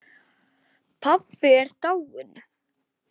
Pabbi er dáinn